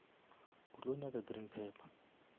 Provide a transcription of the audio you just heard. o tlo nyaka green pepper